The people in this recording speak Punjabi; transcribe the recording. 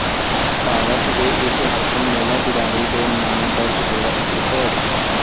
ਭਾਰਤ ਦੇ ਇਸ ਹਰਫਨਮੌਲਾ ਖਿਡਾਰੀ ਦੇ ਨਾਮ ਦਰਜ਼ ਹੋਇਆ ਇਕ ਰਿਕਾਰਡ